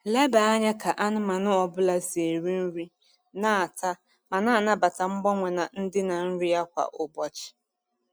Leba anya ka anụmanụ ọ bụla si eri nri, na-ata, ma na-anabata mgbanwe na ndịna nri ya kwa ụbọchị.